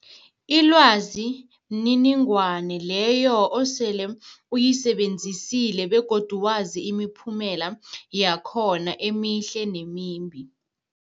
Ilwazi mniningwana leyo osele uyisebenzisile begodu wazi imiphumela yakhona emihle nemimbi.